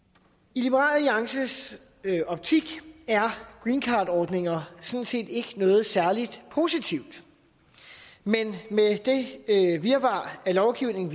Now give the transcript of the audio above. i liberal alliances optik er greencardordninger sådan set ikke noget særlig positivt men med det virvar af lovgivning